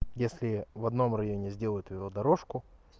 если в одном районе сделают велодорожку